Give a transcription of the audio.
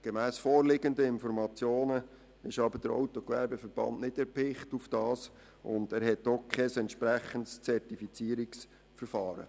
Gemäss vorliegenden Informationen ist aber der AGVS nicht auf das Angebot erpicht und hat auch kein entsprechendes Zertifizierungsverfahren.